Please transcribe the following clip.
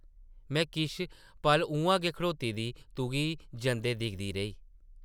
में किश पल उʼआं गै खड़ोती दी तुगी जंदे दिखदी रेही ।